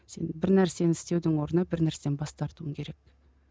сен бір нәрсені істеудің орнына бір нәрседен бас тартуың керек